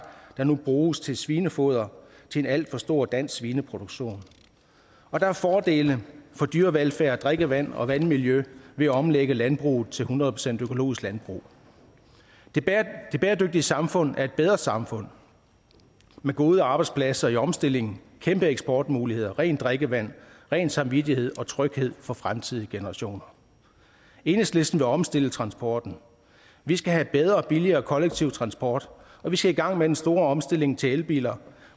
der nu bruges til svinefoder til en alt for stor dansk svineproduktion og der er fordele for dyrevelfærd drikkevand og vandmiljø ved at omlægge landbruget til hundrede procent økologisk landbrug det bæredygtige samfund er et bedre samfund med gode arbejdspladser i omstillingen kæmpe eksportmuligheder rent drikkevand ren samvittighed og tryghed for fremtidige generationer enhedslisten vil omstille transporten vi skal have bedre og billigere kollektiv transport og vi skal i gang med den store omstilling til elbiler